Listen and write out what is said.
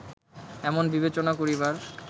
এমন বিবেচনা করিবার